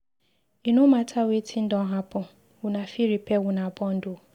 E no mata wetin don happen, una fit repair una bond o.